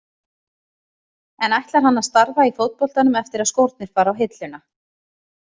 En ætlar hann að starfa í fótboltanum eftir að skórnir fara á hilluna?